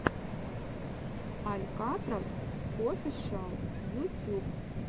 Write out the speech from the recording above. алькатрас офишиал ютюб